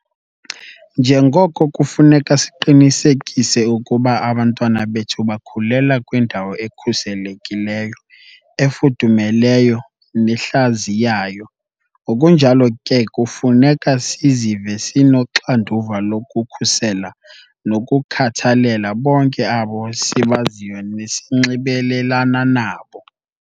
Njengoko kufuneka siqinisekise ukuba abantwana bethu bakhulela kwindawo ekhuselekileyo, efudumeleyo nehlaziyayo, ngokunjalo ke kufuneka sizive sinoxanduva lokukhusela nokukhathalela bonke abo sibaziyo nesinxibelelana nabo.